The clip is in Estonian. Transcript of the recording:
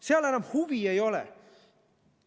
Seal enam huvi ei ole.